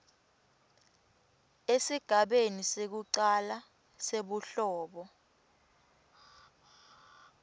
esigabeni sekucala sebuhlobo